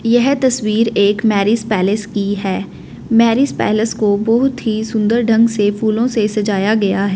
यह तस्वीर एक मैरिज पैलेस की है मैरिज पैलेस को बहुत ही सुंदर ढंग से फूलों से सजाया गया है।